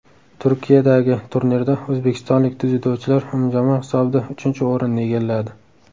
Turkiyadagi turnirda o‘zbekistonlik dzyudochilar umumjamoa hisobida uchinchi o‘rinni egalladi.